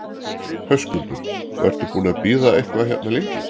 Höskuldur: Og ertu búinn að bíða eitthvað hérna lengi?